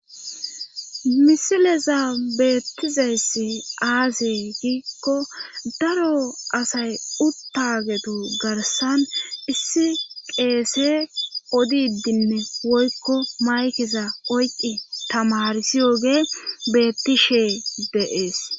Misileza beettizayssi aaze giikko daro asay uttagetu garssan issi qeese odidinne woykko maykeza oyqqi tamarsishe de7iyoge beettishee de7ees.